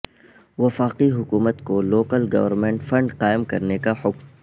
وفاقی حکومت کو لوکل گورنمنٹ فنڈ قائم کرنے کا حکم